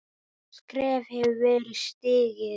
Stórt skref hefur verið stigið.